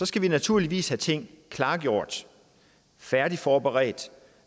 skal vi naturligvis have tingene klargjort og færdigforberedt